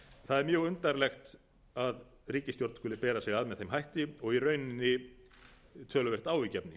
það er mjög undarlegt að ríkisstjórn skuli bera sig að með þeim hætti og í rauninni töluvert áhyggjuefni